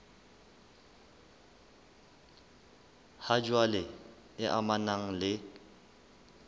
ha jwale e amanang le